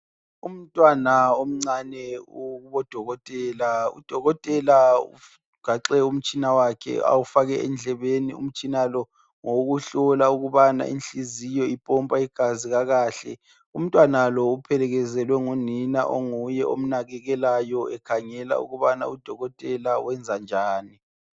Umntwana omncane ukubo Dokotela. UDokotela ugaxe umtshina wakhe awufake endlebeni. Umtshina lo ngowokuhlola ukubana inhliziyo ipompa igazi kakahle. Umntwana lo uphelekezelwe ngu nina onguye omnakekelayo ekhangela ukubana u Dokotela wenza njani.